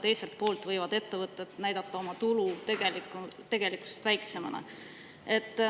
Teiselt poolt võivad ettevõtted näidata oma tulu tegelikkusest väiksemana.